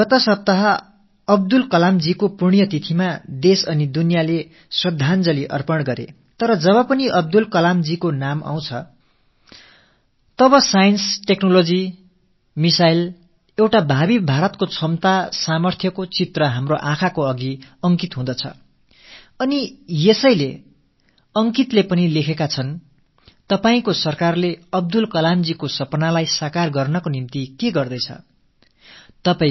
கடந்த வாரம் அப்துல் கலாம் அவர்களின் நினைவு தினத்தை ஒட்டி நாடும் ஒட்டுமொத்த உலகும் அஞ்சலி செலுத்தியது ஆனால் எப்போதெல்லாம் அப்துல் கலாம் அவர்களின் பெயர் எடுக்கப்படுகிறதோ அப்போதெல்லாம் அறிவியல் தொழில்நுட்பம் ஏவுகணை என்ற வகையில் திறன்கள்மிக்க பாரதம் பற்றிய ஒரு எதிர்காலச் சித்திரம் நமது கண்களில் நிழலாடுகிறது அந்த முறையில் அப்துல் கலாம் அவர்களின் கனவுகளை நனவாக்கும் வகையில் உங்கள் அரசு என்ன முயற்சிகளை மேற்கொண்டு வருகிறது என்று அங்கித் கேட்டிருக்கிறார் நீங்கள் கூறுவது சரி தான்